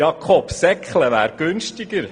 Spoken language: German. Jakob, «seckle» wäre günstiger!